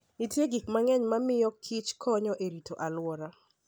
Nitie gik mang'eny mamiyokich konyo e rito alwora.